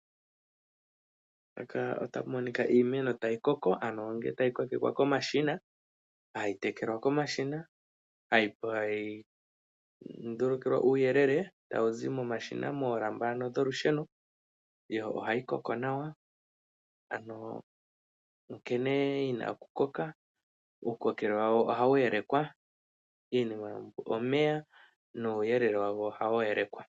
Opuna iimeno mbyono hayi kunwa momashina, ohayi pewa uuyele kolusheno nohayi tekelwa komashina, omashina ngono ohaga kala wo taga yeleke nkene tayi koko.